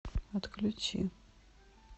отключи